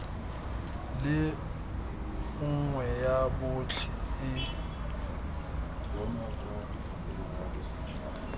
le nngwe ya botlhe e